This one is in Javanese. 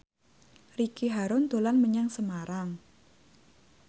Ricky Harun dolan menyang Semarang